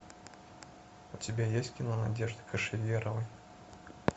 у тебя есть кино надежды кошеверовой